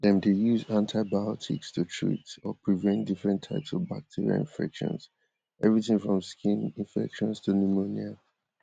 dem dey use antibiotics to treat or prevent different types of bacterial infections evritin from skin infections to pneumonia